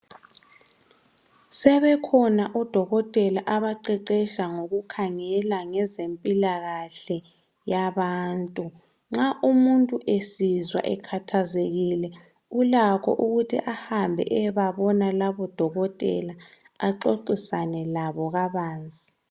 Sebekhona odokotela abaqeqesha ngokukhangela ngezempilakahle yabantu. Nxa umuntu esizwa ekhathazekile ulakho ukuthi ahambe eyebabona labodokotela axoxisane labo kabanzi.